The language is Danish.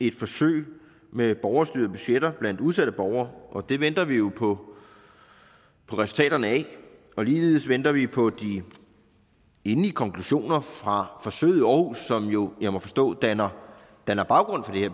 et forsøg med borgerstyrede budgetter blandt udsatte borgere og det venter vi jo på resultaterne af ligeledes venter vi på de endelige konklusioner fra forsøget i aarhus som jo må jeg forstå danner danner baggrund for det